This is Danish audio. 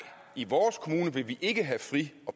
i vores kommune vil vi ikke have fri